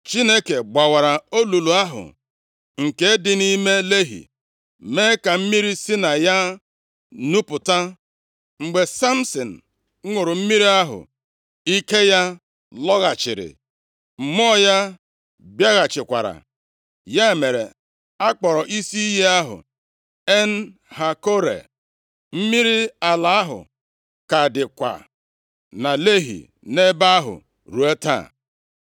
Chineke gbawara olulu ahụ nke dị nʼime Lehi, mee ka mmiri si na ya nupụta. Mgbe Samsin ṅụrụ mmiri ahụ, ike ya lọghachiri, mmụọ ya bịaghachikwara. Ya mere, a kpọrọ isi iyi ahụ En-Hakkore. Mmiri ala ahụ ka dịkwa na Lehi nʼebe ahụ ruo taa.